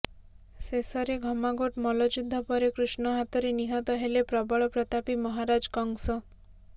ଶେଷରେ ଘମାଘୋଟ ମଲ୍ଲଯୁଦ୍ଧ ପରେ କୃଷ୍ଣ ହାତରେ ନିହତ ହେଲେ ପ୍ରବଳ ପ୍ରତାପୀ ମହାରାଜ କଂସ